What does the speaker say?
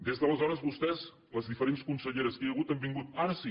des d’aleshores vostès les diferents conselleres que hi ha hagut han vingut ara sí